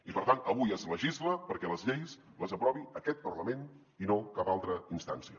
i per tant avui es legisla perquè les lleis les aprovi aquest parlament i no cap altra instància